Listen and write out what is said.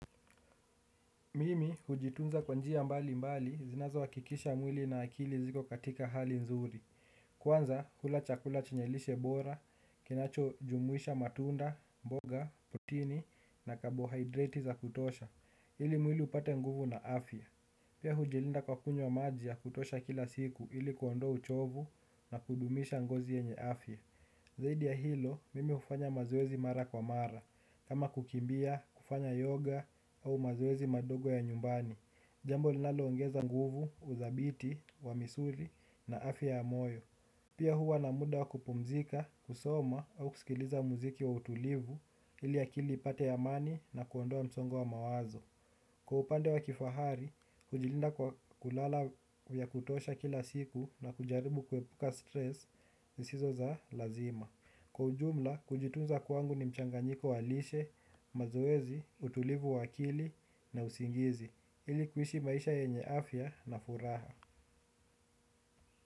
Mimi hujitunza kwa njia mbalimbali zinazohakikisha mwili na akili ziko katika hali nzuri. Kwanza hula chakula chenye lishe bora, kinachojumuisha matunda, mboga, protini na kabocarbohydrate za kutosha ili mwili upate nguvu na afya. Pia hujilinda kwa kunywa maji ya kutosha kila siku ili kuondoa uchovu na kudumisha ngozi yenye afya. Zaidi ya hilo, mimi hufanya mazoezi mara kwa mara, kama kukimbia, kufanya yoga au mazoezi madogo ya nyumbani. Jambo linaloongeza nguvu, uthabiti, wa misuli na afya ya moyo. Pia huwa na muda wa kupumzika, kusoma au kusikiliza muziki wa utulivu ili akili ipate amani na kuondoa msongo wa mawazo. Kwa upande wa kifahari, kujilinda kwa kulala ya kutosha kila siku na kujaribu kuepuka stress zisizo za lazima. Kwa ujumla, kujitunza kwangu ni mchanganyiko wa lishe, mazoezi, utulivu wa akili na usingizi. Ili kuishi maisha yenye afya na furaha.